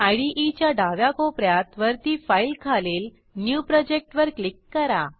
IDEच्या डाव्या कोप यात वरती फाइल खालील न्यू प्रोजेक्ट वर क्लिक करा